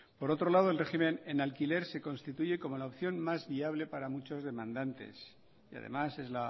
por otro lado el régimen en alquiler se constituye como la opción más viable para muchos demandantes y además es